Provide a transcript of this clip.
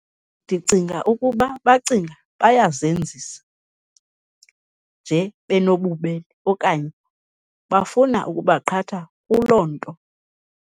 Ndicinga ukuba bacinga bayazenzisa nje benobubele okanye bafuna ukubaqhatha kuloo nto.